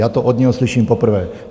Já to od něho slyším poprvé.